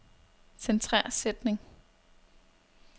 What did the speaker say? Centrer sætning.